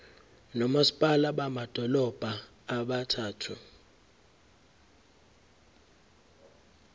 nomasipala bamadolobha abathathu